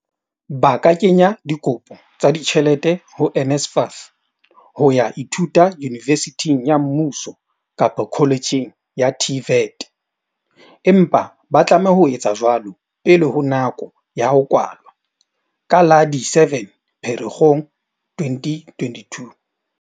Ba ka kenya dikopo tsa di tjhelete ho NSFAS ho ya ithuta yunivesithing ya mmuso kapa koletjheng ya TVET, empa ba tlameha ho etsa jwalo pele ho nako ya ho kwalwa ka la di 7 Pherekgong 2022.